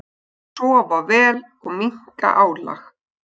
Sofa vel og minnka álag.